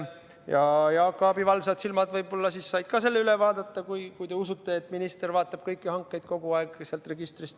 Ja Jaak Aabi valvsad silmad võib-olla said ka selle üle vaadata – te ehk usute, et minister vaatab sealt registrist kõiki hankeid.